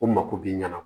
O mako b'i ɲɛna